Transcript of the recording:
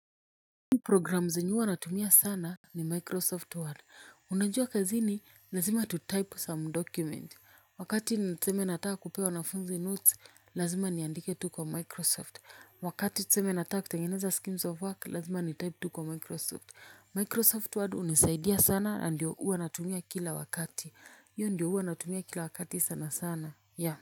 Program zenye huwa natumia sana ni microsoft word unajua kazini lazima tutype some document wakati tuseme nataka kupea wanafunzi notes lazima niandike tu kwa microsoft wakati tuseme nataka kutengeneza schemes of work lazima nitype tu kwa microsoft microsoft word hunisaidia sana na ndio huwa natumia kila wakati. Hiyo ndio huwa natumia kila wakati sana sana ya.